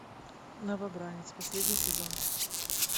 новобранец последний сезон